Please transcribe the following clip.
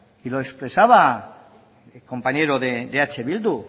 y lo expresaba el compañero de eh bildu